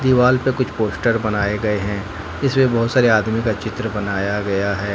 दीवाल पे कुछ पोस्टर बनाए गए हैं इसमें बहोत सारे आदमी का चित्र बनाया गया है।